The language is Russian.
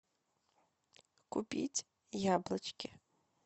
купить яблочки